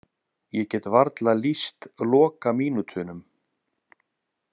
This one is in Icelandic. Ég get varla lýst lokamínútunum.